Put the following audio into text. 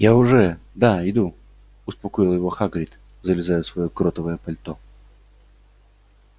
я уже да иду успокоил его хагрид залезая в своё кротовое пальто